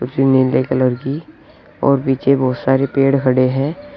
कुछ नीले कलर की और पीछे बहुत सारे पेड़ खड़े हैं।